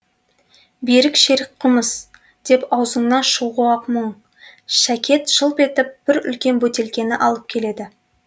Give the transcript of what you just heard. бір шерік қымыз деп аузыңнан шығуы ақ мұң шәкет жылп етіп бір үлкен бөтелкені алып келеді